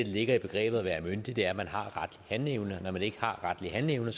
ligger i begrebet at være myndig er at man har retlig handleevne når man ikke har retlig handleevne